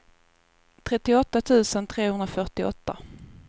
trettioåtta tusen trehundrafyrtioåtta